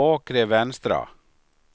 bakre vänstra